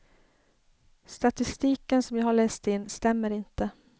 Statistiken som jag har läst in stämmer inte.